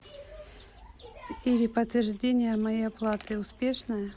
сири подтверждение моей оплаты успешное